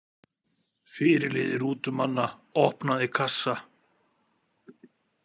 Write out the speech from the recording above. Fyrirliði rútumanna opnaði kassa.